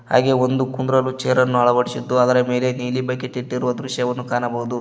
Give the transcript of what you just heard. ಹಾಗೆ ಒಂದು ಕುಂಡ್ರಲು ಚೇರ್ ಅನ್ನು ಅಳವಡಿಸಿದ್ದು ಅದರ ಮೇಲೆ ನೀಲಿ ಬಕೆಟ್ ಇಟ್ಟಿರುವ ದೃಶ್ಯವನ್ನು ಕಾಣಬಹುದು.